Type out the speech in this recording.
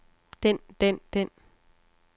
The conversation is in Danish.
den den den